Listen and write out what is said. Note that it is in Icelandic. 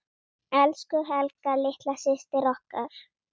Elsku Helga litla systir okkar.